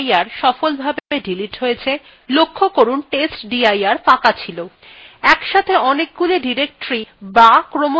testdir directory সফলভাবে delete হয়ে গেছে লক্ষ্য করুন testdir ফাঁকা ছিল